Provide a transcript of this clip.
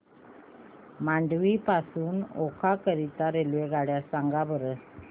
मांडवी पासून ओखा करीता रेल्वेगाड्या सांगा बरं